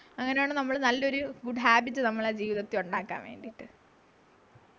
അങ്ങനെയാണ് നമ്മുടെ നല്ലൊരു good habit നമ്മളെ ജീവിതത്തി ഉണ്ടാകാൻ വേണ്ടിട്ടു